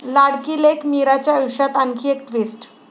लाडकी लेक मीराच्या आयुष्यात आणखी एक ट्विस्ट